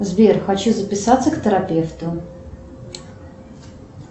сбер хочу записаться к терапевту